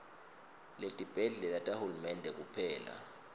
tibhedlela tahulumende kuphela